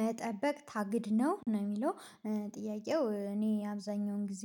መጠበቅ ታግድ ነው ነው የሚለው ጥያቄው እኔ አብዛኛውን ጊዜ